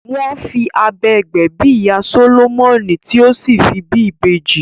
Wọ́n fi abẹ gbẹ̀bí ìyá Sólómọ́nì tí ó sì fi bí ibeji